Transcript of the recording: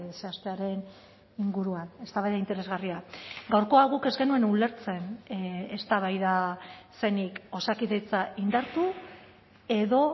zehaztearen inguruan eztabaida interesgarria gaurkoa guk ez genuen ulertzen eztabaida zenik osakidetza indartu edo